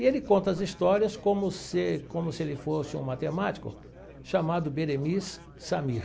E ele conta as histórias como se como se ele fosse um matemático chamado Beremiz Samir.